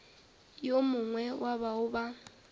yo mongwe wa bao ba